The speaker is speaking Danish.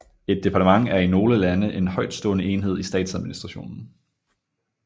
Et departement er i nogle lande en højtstående enhed i statsadministrationen